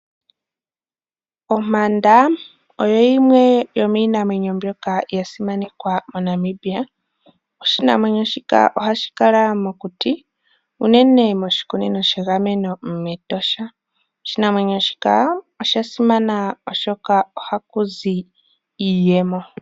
Ompanda oyo yimwe yo miinamwenyo mbyoka yasimanekwa moNamibia, oshinamwenyo shika ohashi kala mokuti, unene moshikunino shegameno metosha, oshinamwenyo shika osha simana oshoka oha kuzi iiyemo.